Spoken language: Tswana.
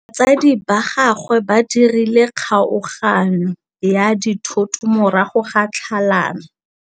Batsadi ba gagwe ba dirile kgaoganyô ya dithoto morago ga tlhalanô.